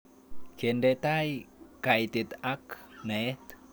Kende tai kaitet ak naet